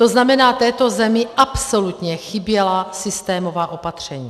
To znamená, této zemi absolutně chyběla systémová opatření.